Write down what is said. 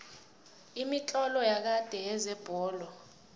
imitlolo yakade yezebholo